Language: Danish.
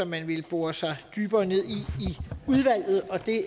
man ville bore dybere ned